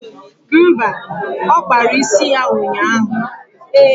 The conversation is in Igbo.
Mba, ọ kpara isi ya ụnyaahụ